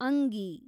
ಅಂಗಿ